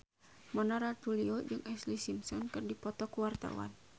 Mona Ratuliu jeung Ashlee Simpson keur dipoto ku wartawan